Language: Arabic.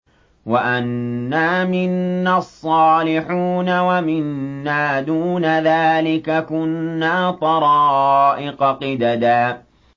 وَأَنَّا مِنَّا الصَّالِحُونَ وَمِنَّا دُونَ ذَٰلِكَ ۖ كُنَّا طَرَائِقَ قِدَدًا